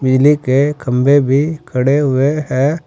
बिजली के खंभे भी खड़े हुए हैं।